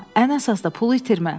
Ən əsası da pulu itirmə.